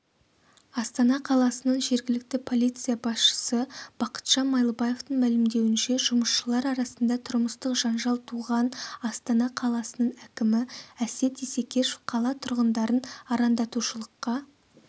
астана қаласының жергілікті полиция басшысы бақытжан майлыбаевтың мәлімдеуінше жұмысшылар арасында тұрмыстық жанжал туған астана қаласының әкімі әсет исекешев қала тұрғындарын арандатушылыққа